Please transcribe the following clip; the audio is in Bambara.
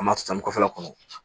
An b'a san san kɔfɛla kɔnɔ